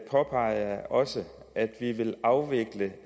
påpeger jeg også at vi vil afvikle